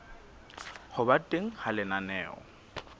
ho ba teng ha lenaneo